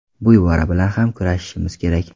Bu ibora bilan ham kurashishimiz kerak.